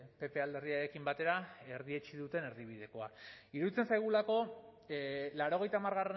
pp alderdiarekin batera erdietsi duten erdibidekoa iruditzen zaigulako laurogeita hamar